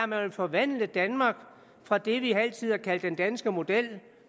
man vil forvandle danmark fra det vi altid har kaldt den danske model